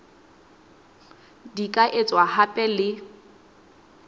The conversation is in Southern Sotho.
di ka etswa hape le